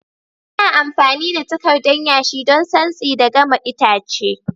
Ana amfami da takardan yashi don santsi da gama itace.